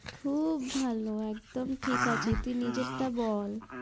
খুব ভালো একদম ঠিক আছি তুই নিজের তা বল